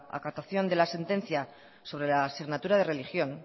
acatación de la sentencia sobre la asignatura de religión